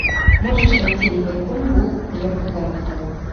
можешь найти ливерпуль вулверхэмптон